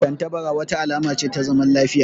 Tattabara wata alama ce ta zaman lafiya